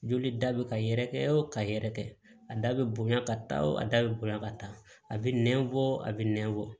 Joli da bɛ ka yɛrɛkɛ o ka yɛrɛkɛ a da bɛ bonya ka taa o a da bɛ bonya ka taa a bɛ nɛn bɔ a bɛ nɛn bɔ